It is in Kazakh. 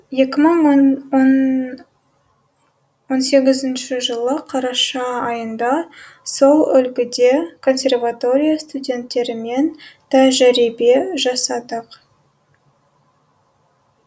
екі мың он сегізінші жылы қараша айында сол үлгіде консерватория студенттерімен тәжірибе жасадық